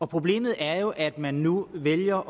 problemet er jo at man nu vælger